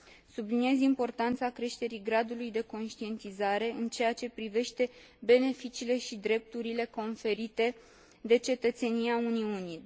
Subliniez importanța creșterii gradului de conștientizare în ceea ce privește beneficiile și drepturile conferite de cetățenia Uniunii.